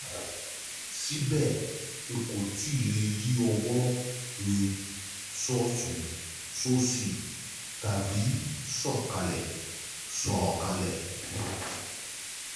Síbẹ̀, n kò tíì lè yí ọwọ́ mi sọ́tùn-ún sósì tàbí sọ̀ ọ́ kalẹ̀ sọ̀ ọ́ kalẹ̀